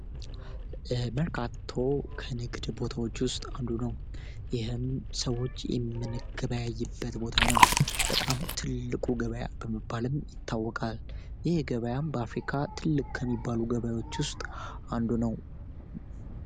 የመርካቶ ከንግድ ቦታዎች ውስጥ ቦታ ነው በጣም ትልቁ ገበያ ይታወቃል በአፍሪካ ትልቅ ከሚባሉ ገበያዎች ውስጥ አንዱ ነው